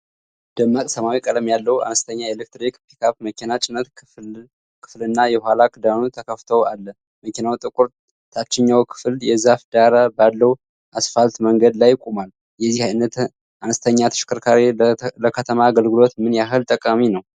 ደማቅ ሰማያዊ ቀለም ያለው አነስተኛ የኤሌክትሪክ ፒክአፕ መኪና ጭነት ክፍልና የኋላ ክዳኑ ተከፍተው አለ። መኪናው ጥቁር ታችኛው ክፍል የዛፍ ዳራ ባለው አስፋልት መንገድ ላይ ቆሟል። የዚህ አይነት አነስተኛ ተሽከርካሪ ለከተማ አገልግሎት ምን ያህል ጠቃሚ ነው?